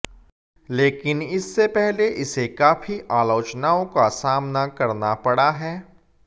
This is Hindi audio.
लेकिन इससे पहले इसे काफी आलोचनाओं को सामना करना पड़ा है